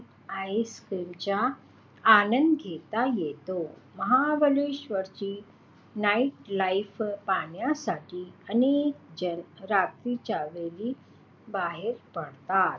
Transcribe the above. ice cream चा आनंद घेता येतो. महाबळेश्वरची night life पाहण्यासाठी अनेक जण रात्रीच्या वेळी बाहेर पडतात.